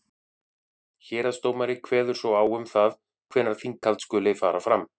héraðsdómari kveður svo á um það hvenær þinghald skuli fara fram